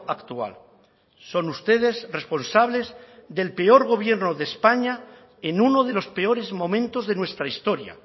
actual son ustedes responsables del peor gobierno de españa en uno de los peores momentos de nuestra historia